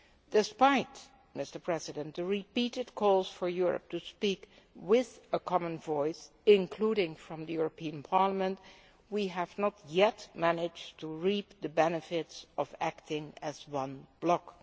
Despite the repeated calls for Europe to speak with a common voice, including from the European Parliament, we have not yet managed to reap the benefits of acting as one block.